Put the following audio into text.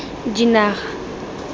dinaga